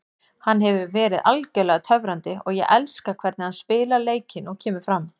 Hann hefur verið algjörlega töfrandi og ég elska hvernig hann spilar leikinn og kemur fram.